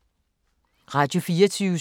Radio24syv